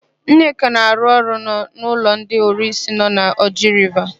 Nneka na-arụ ọrụ n'ụlọ ndị ọrụsị nọ na Oji Riva.